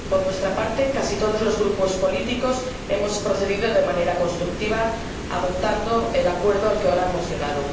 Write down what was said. Por nuestra parte, casi todos los grupos políticos hemos procedido de manera constructiva adoptando el acuerdo al que ahora hemos llegado.